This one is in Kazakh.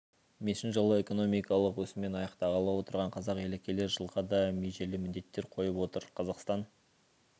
мешін жылы экономикалық өсіммен аяқтағалы отырған қазақ елі келер жылға да межелі міндеттер қойып отыр қазақстан